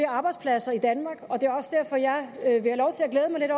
arbejdspladser i danmark og det er også derfor jeg vil have lov til at glæde mig lidt